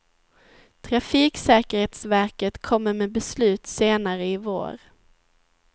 Trafiksäkerhetsverket kommer med beslut senare i vår.